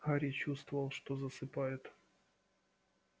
гарри чувствовал что засыпает